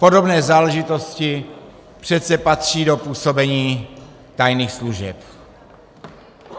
Podobné záležitosti přece patří do působení tajných služeb.